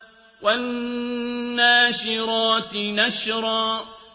وَالنَّاشِرَاتِ نَشْرًا